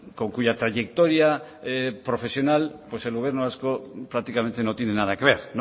con cuya trayectoria profesional el gobierno vasco prácticamente no tiene nada que ver